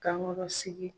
Kankɔrɔ sigi